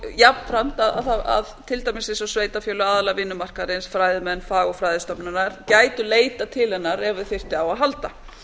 jafnframt það að til dæmis eins og sveitarfélög aðilar vinnumarkaðarins fræðimenn fagurfræðistofnanir gætu leitað til hennar ef þau þyrftu á að halda